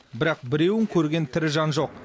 бірақ біреуін көрген тірі жан жоқ